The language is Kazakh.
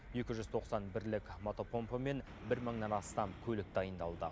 екі жүз тоқсан бірлік мотопомпа мен бір мыңнан астам көлік дайындалды